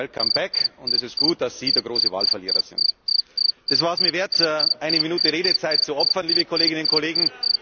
Welcome back, und es ist gut, dass Sie der große Wahlverlierer sind. Das war es mir wert, eine Minute Redezeit zu opfern, liebe Kolleginnen und Kollegen.